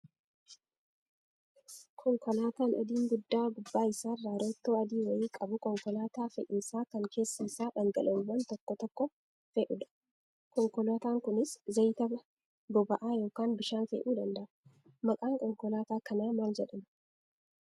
Konkolaataan adiin guddaa gubbaa isaarraa roottoo adii wayii qabu konkolaataa fe'iisaa kan keessa isaatti dhangala'oowwan tokko tokko fe'udha. Konkolaataan kunis zayita, boba'aa yookaan bishaan fe'uu danda'a. Maqaan konkolaataa kanaa maal jedhamaa?